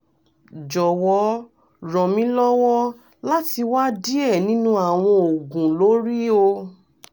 jọwọ ran mi lọwọ lati wa diẹ ninu awọn oogun lori o